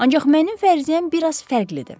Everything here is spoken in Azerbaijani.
Ancaq mənim fərziyyəm bir az fərqlidir.